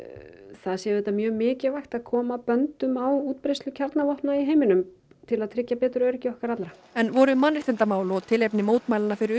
það sé auðvitað mjög mikilvægt að koma böndum á útbreiðslu kjarnorkuvopna í heiminum til að tryggja betur öryggi okkar allra en voru mannréttindamál og tilefni mótmælanna fyrir